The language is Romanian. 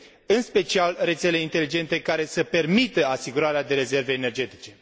în special rețele inteligente, care să permită asigurarea de rezerve energetice.